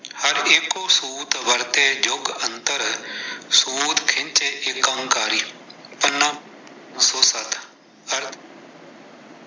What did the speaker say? ਹਰਿ ਏਕੋ ਸੂਤੁ ਵਰਤੈ ਜੁਗ ਅੰਤਰਿ ਸੂਤੁ ਖਿੰਚੈ ਏਕੰਕਾਰੀ-ਪੰਨਾ।